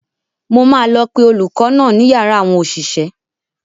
Mo máa lọ pe olùkọ́ náà ní yàrá àwọn òṣìṣẹ́.